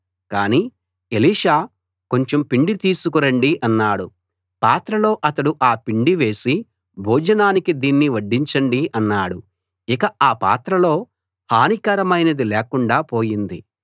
కానీ ఎలీషా కొంచెం పిండి తీసుకు రండి అన్నాడు పాత్రలో అతడు ఆ పిండి వేసి భోజనానికి దీన్ని వడ్డించండి అన్నాడు ఇక ఆ పాత్రలో హానికరమైనది లేకుండా పోయింది